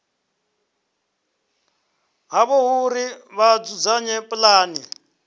havho uri vha dzudzanye pulane